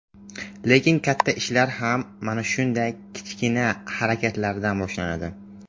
Lekin katta ishlar ham mana shunday kichkina harakatlardan boshlanadi.